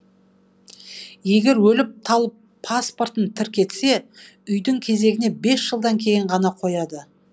егер өліп талып паспортын тіркетсе үйдің кезегіне бес жылдан кейін ғана қояды